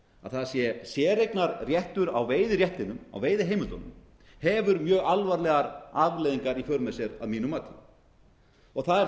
að það sé séreignarréttur á veiðiréttinum á veiðiheimildunum hefur mjög alvarlegar afleiðingar í för með sér að mínu mati það er